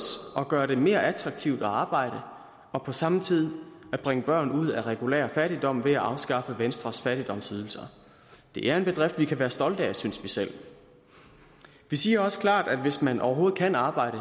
at gøre det mere attraktivt at arbejde og på samme tid at bringe børn ud af regulær fattigdom ved at afskaffe venstres fattigdomsydelser det er en bedrift vi kan være stolte af synes vi selv vi siger også klart at hvis man overhovedet kan arbejde